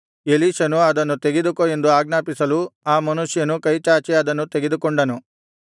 ಎಲೀಷನು ಅದನ್ನು ತೆಗೆದುಕೋ ಎಂದು ಆಜ್ಞಾಪಿಸಲು ಆ ಮನುಷ್ಯನು ಕೈಚಾಚಿ ಅದನ್ನು ತೆಗೆದುಕೊಂಡನು